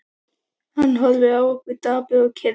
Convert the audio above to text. Hann horfði á okkur, dapur og kyrr.